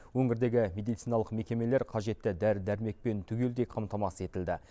өңірдегі медициналық мекемелер қажетті дәрі дәрмекпен түгелдей қамтамасыз етілді